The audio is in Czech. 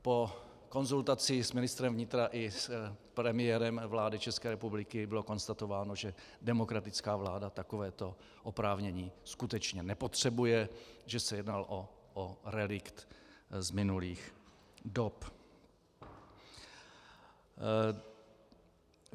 Po konzultaci s ministrem vnitra i s premiérem vlády České republiky bylo konstatováno, že demokratická vláda takovéto oprávnění skutečně nepotřebuje, že se jedná o relikt z minulých dob.